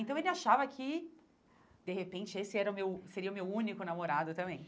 Então, ele achava que, de repente, esse era o meu seria o meu único namorado também.